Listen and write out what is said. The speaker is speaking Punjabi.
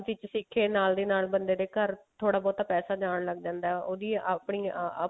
ਸਿੱਖੇ ਨਾਲ ਦੀ ਨਾਲ ਬੰਦੇ ਦੇ ਘਰ ਥੋੜਾ ਬਹੁਤਾ ਪੈਸਾ ਜਾਣ ਲੱਗ ਜਾਂਦਾ ਉਹਦੀ ਆਪਣੀ ਆਪ